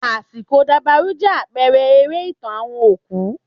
Àsìkò dabarú jẹ́ àpẹrẹ eré ìtàn àwọn òkú